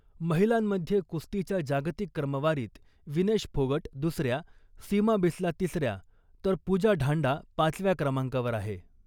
महिलांमध्ये कुस्तीच्या जागतिक क्रमवारीत विनेश फोगट दुसऱ्या , सीमा बिस्ला तिसऱ्या , तर पुजा ढांडा पाचव्या क्रमांकावर आहे .